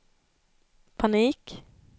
panik